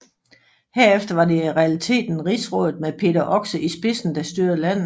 Herefter var det i realiteten Rigsrådet med Peder Oxe i spidsen der styrede landet